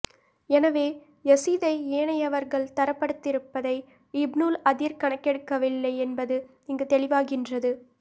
எனவே யஸீதை ஏனையவர்கள் தரப்படுத்தியிருப்பதை இப்னுல் அதீர் கணக்கெடுக்கவில்லை என்பது இங்கு தெளிவாகின்றது